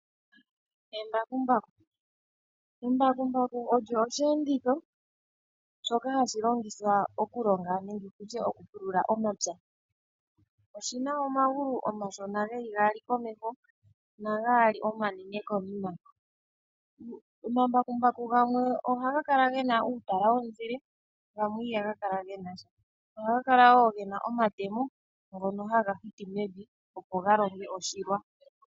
Embakumbaku Embakumbaku olyo osheenditho shoka hashi longithwa okulonga nenge okupulula omapya. Oshi na omagulu omashona ge li gaali komeho nagaali omanene konima. Omambakumbaku gamwe ohaga kala ge na uutala womuzile gamwe ihaga kala ge na sha. Ohaga kala wo ge na omatemo ngono haga hiti mevi, opo ga longe oshilwa.